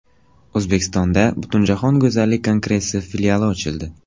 O‘zbekistonda Butunjahon go‘zallik kongressi filiali ochildi.